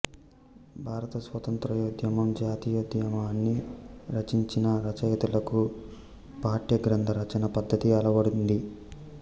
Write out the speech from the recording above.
భారత స్వాతంత్య్రోద్యమం జాతీయోద్యమాన్ని రచించిన రచయితలకు పాఠ్యగ్రంథ రచనా పద్ధతి అలవడింది